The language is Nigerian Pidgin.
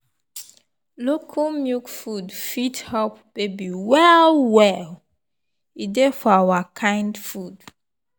local milk food fit help baby well well e dey for our kind food.